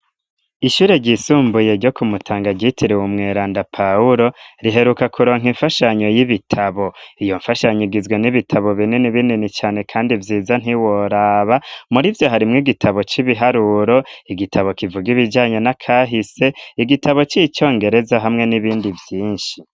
Ishure ryisumbuye ryo kumutanga gitire wu mweranda pawulo riheruka kuronka imfashanyo y'ibitabo iyo mfashanyigizwe n'ibitabo binini binini cyane kandi vyiza nt'iworaba muri vyo harimwe igitabo c'ibiharuro igitabo kivuga ibijanye na kahise igitabo c'icyongereza hamwe n'ibindi vyinshi